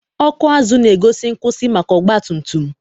ọkụ azụ na-egosi nkwụsị maka ọgba tum tum.